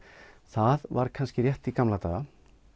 það var kannski rétt í gamla daga